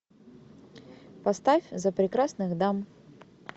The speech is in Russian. поставь за прекрасных дам